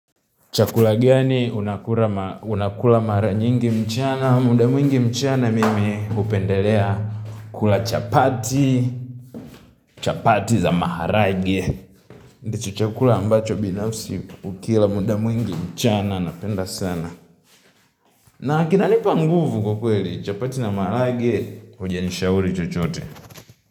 Chakula gani unakula mara nyingi mchana? Muda mwingi mchana mimi hupendelea kula chapati, chapati za maharage. Ndicho chakula ambacho binafsi ukila muda mwingi mchana, napenda sana. Na kinanipa nguvu kwa kweli, chapati na maharage, hujanishauri chochote.